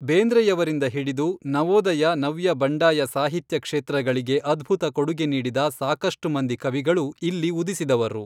ಬೇಂದ್ರೆಯವರಿಂದ ಹಿಡಿದು ನವೋದಯ ನವ್ಯ ಬಂಡಾಯ ಸಾಹಿತ್ಯ ಕ್ಷೇತ್ರಗಳಿಗೆ ಅದ್ಭುತ ಕೊಡುಗೆ ನೀಡಿದ ಸಾಕಷ್ಟು ಮಂದಿ ಕವಿಗಳು ಇಲ್ಲಿ ಉದಿಸಿದವರು